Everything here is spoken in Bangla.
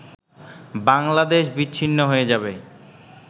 বাংলাদেশ বিচ্ছিন্ন হয়ে যাবে